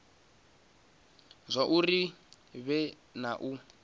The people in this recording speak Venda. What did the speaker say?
zwauri hu vhe na u